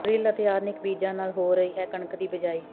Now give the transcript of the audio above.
drill ਅਤੇ ਆਧੁਨਿਕ ਬੀਜਾਂ ਨਾਲ ਹੋ ਰਹੀ ਹੈ ਕਣਕ ਦੀ ਬਿਜਾਈ